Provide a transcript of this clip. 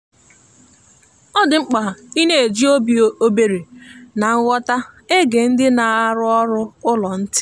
ọ dị mkpa ịna eji obi ebere na nghọta ege ndị na-arụ ọrụ ụlọ ntị